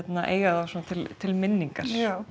eiga þá svona til til minningar